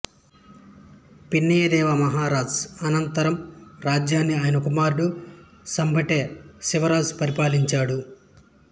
పిన్నయదేవ మహారాజు అనంతరం రాజ్యాన్ని ఆయన కుమారుడు సంబెట శివరాజు పరిపాలించాడు